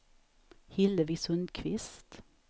Hillevi Sundqvist